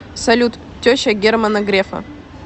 салют теща германа грефа